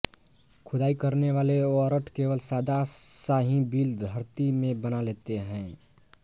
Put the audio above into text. खोदाई करनेवाले वरट केवल सादा सा ही बिल धरती में बना लेते हैं